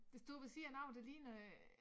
Der står ved siden af det ligner øh